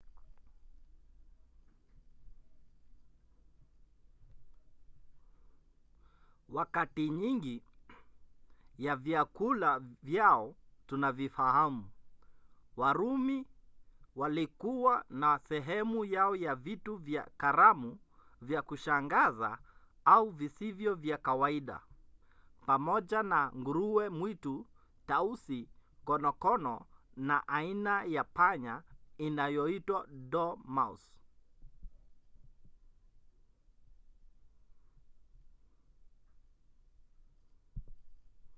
wakati nyingi ya vyakula vyao tunavifahamu warumi walikuwa na sehemu yao ya vitu vya karamu vya kushangaza au visivyo vya kawaida pamoja na nguruwe mwitu tausi konokono na aina ya panya inayoitwa dormouse